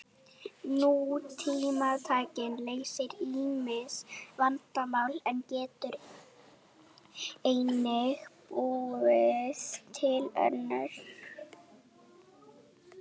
Nútímatækni leysir ýmis vandamál en getur einnig búið til önnur.